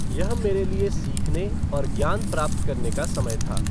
यह मेरे लिए सीखने और ज्ञान प्राप्त करने का समय था।